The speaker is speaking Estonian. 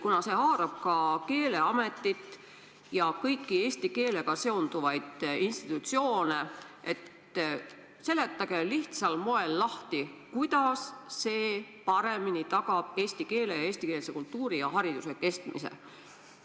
Kuna see haarab ka Keeleametit ja kõiki teisi eesti keelega tegelevaid institutsioone, palun seletage lihtsal moel lahti, kuidas see muudatus tagab paremini eesti keele, eesti kultuuri ja eestikeelse hariduse kestmise.